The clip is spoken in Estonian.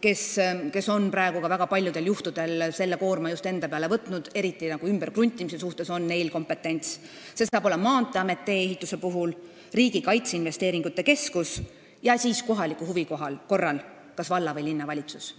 kes on praegu väga paljudel juhtudel selle koorma just enda peale võtnud, eriti ümberkruntimises on neil kompetentsi, Maanteeamet tee-ehituse puhul, Riigi Kaitseinvesteeringute Keskus ning kohaliku huvi korral kas valla- või linnavalitsus.